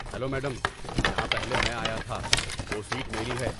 Hello madam, یہاں پہلے میں آیا تھا۔ وہ سیٹ میری ہے۔